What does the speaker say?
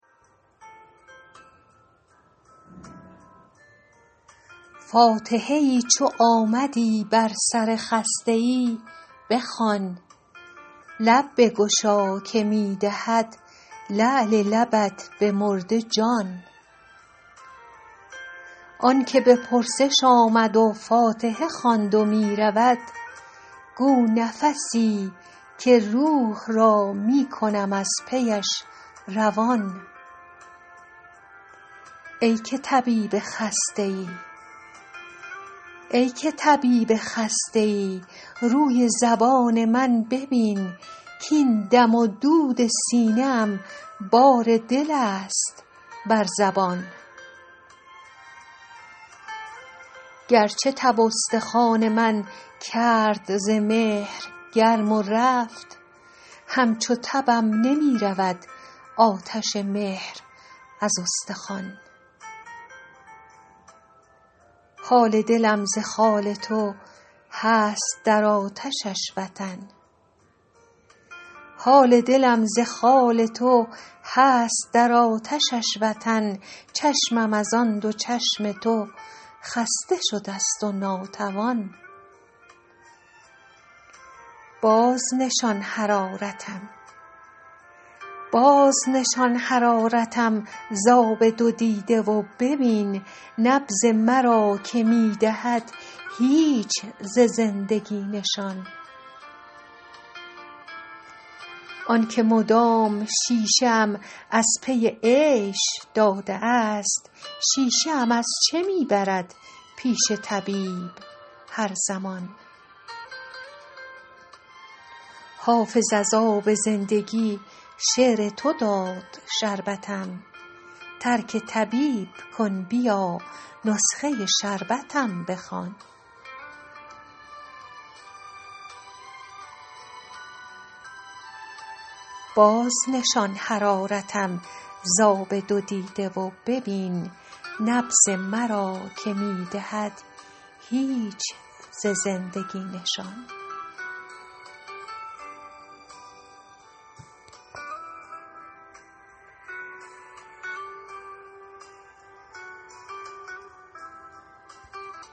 فاتحه ای چو آمدی بر سر خسته ای بخوان لب بگشا که می دهد لعل لبت به مرده جان آن که به پرسش آمد و فاتحه خواند و می رود گو نفسی که روح را می کنم از پیش روان ای که طبیب خسته ای روی زبان من ببین کـاین دم و دود سینه ام بار دل است بر زبان گرچه تب استخوان من کرد ز مهر گرم و رفت همچو تبم نمی رود آتش مهر از استخوان حال دلم ز خال تو هست در آتشش وطن چشمم از آن دو چشم تو خسته شده ست و ناتوان بازنشان حرارتم ز آب دو دیده و ببین نبض مرا که می دهد هیچ ز زندگی نشان آن که مدام شیشه ام از پی عیش داده است شیشه ام از چه می برد پیش طبیب هر زمان حافظ از آب زندگی شعر تو داد شربتم ترک طبیب کن بیا نسخه شربتم بخوان